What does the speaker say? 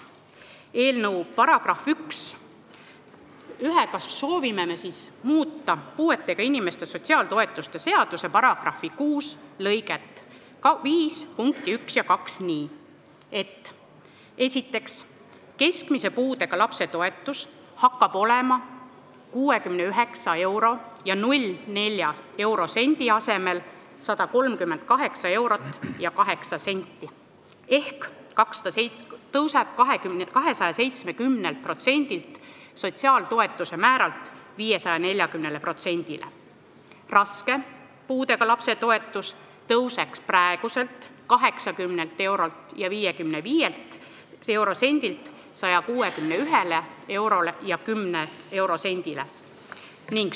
Eelnõu §-ga 1 soovime muuta puuetega inimeste sotsiaaltoetuste seaduse § 6 lõike 5 punkte 1 ja 2 ning teha seda nii, et keskmise puudega lapse toetus oleks 69 euro ja 4 sendi asemel 138 eurot ja 8 senti ehk praegune 270% sotsiaaltoetuste määrast asendataks 540%-ga ning raske puudega lapse toetus tõuseks praeguselt 80 eurolt ja 55 sendilt 161 eurole ja 10 sendile.